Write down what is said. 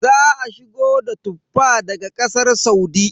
Za a shigo da Tuffa daga Ƙasar Saudi.